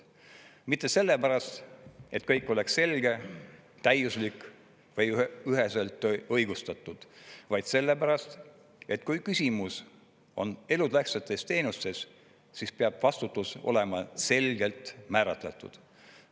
Mitte selle pärast, et kõik oleks selge, täiuslik või üheselt õigustatud, vaid selle pärast, et kui küsimus on elutähtsates teenustes, siis peab vastutus olema selgelt määratletud.